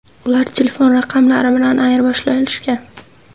Ular telefon raqamlari bilan ayirboshlashgan.